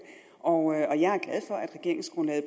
og jeg